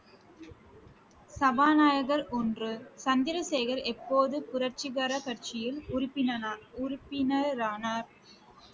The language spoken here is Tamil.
சபாநாயகர் ஒன்று, சந்திரசேகர் எப்போது புரட்சிகர கட்சியில் உறுப்பினரா~ உறுப்பினரானார்